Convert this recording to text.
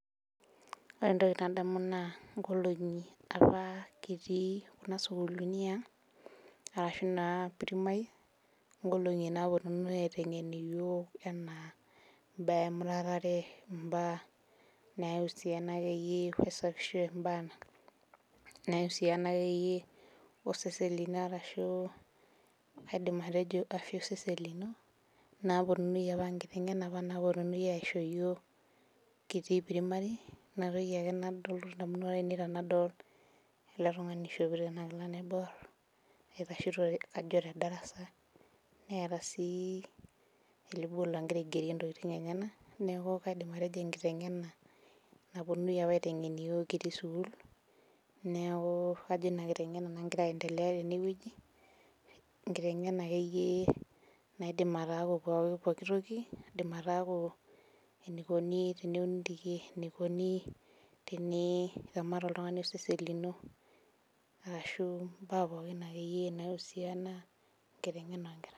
Ore entoki nadamu naa nkolong'i apa kitii kuna sukuluni yiang arashu naa primary nkolong'i naponunui aiteng'en iyiok enaa imbaa emuratare imbaa nausiana akeyie wesapisho embaa nausiana akeyie osesen lino arashu kaidim atejo afya osesen lino naponunui apa nkiteng'ena apa naponunui aisho iyiok kitii primary inatoki ake nalotu indamunot ainei tenadol ele tung'ani ishopito ena kila naiborr itashito kajo te darasa neeta sii elebol nagira aigerie intokiting enyenak neku kaidim atejo enkiteng'ena naponunui apa aiteng'en iyiok apa kitii sukuul neku kajo ina kiteng'ena nagira aendelea tenewueji enkiteng'ena akeyie naidim ataaku poki pokitoki naidim ataaku enikoni teneuni irkeek enikoni teni iramat oltung'ani osesen lino arashu imbaa pookin akeyie naiusiana enkiteng'ena onkera.